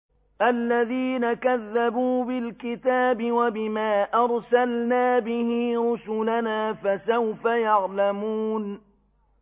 الَّذِينَ كَذَّبُوا بِالْكِتَابِ وَبِمَا أَرْسَلْنَا بِهِ رُسُلَنَا ۖ فَسَوْفَ يَعْلَمُونَ